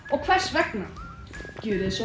og hvers vegna gjörið svo